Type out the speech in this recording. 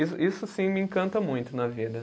Isso isso, sim, me encanta muito na vida.